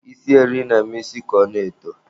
Isi eri na-eme isi ka ọ na-eto.